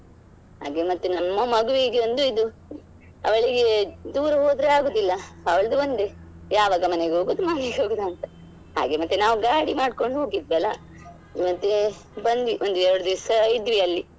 ಹಾಗೆ ಮತ್ತೆ ನಮ್ಮ ಮಗುವಿಗೆ ಒಂದು ಇದು ಅವಳಿಗೆ ದೂರ ಹೋದ್ರೆ ಆಗುದಿಲ್ಲ ಅವಳ್ದು ಒಂದೇ ಯಾವಾಗ ಮನೆಗೆ ಹೋಗುದು ಮನೆಗೆ ಹೋಗುದು ಅಂತ ಹಾಗೆ ಮತ್ತೆ ನಾವು ಗಾಡಿ ಮಾಡ್ಕೊಂಡು ಹೋಗಿದ್ವಲ್ಲ ಮತ್ತೆ ಬಂದ್ವಿ ಒಂದೆರಡು ದಿವ್ಸ ಇದ್ವಿ ಅಲ್ಲಿ.